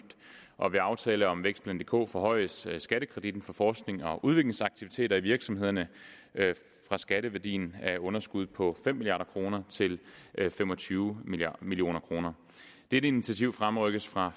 og ved aftale om vækstplan dk forhøjedes skattekreditten for forsknings og udviklingsaktiviteter i virksomhederne fra skatteværdien af underskuddet på fem milliard kroner til fem og tyve million kroner dette initiativ fremrykkes fra